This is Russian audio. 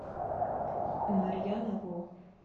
марьяна ро